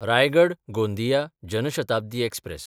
रायगड–गोंदिया Jan Shatabdi express